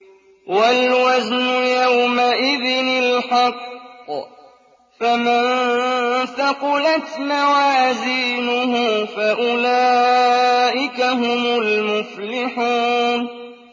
وَالْوَزْنُ يَوْمَئِذٍ الْحَقُّ ۚ فَمَن ثَقُلَتْ مَوَازِينُهُ فَأُولَٰئِكَ هُمُ الْمُفْلِحُونَ